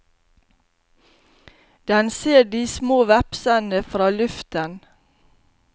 Den ser de små vepsene fra luften.